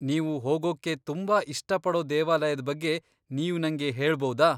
ನೀವು ಹೋಗೊಕ್ಕೆ ತುಂಬಾ ಇಷ್ಟಪಡೋ ದೇವಾಲಯದ್ ಬಗ್ಗೆ ನೀವ್ ನಂಗೆ ಹೇಳ್ಬೌದಾ?